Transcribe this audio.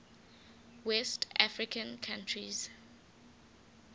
west african countries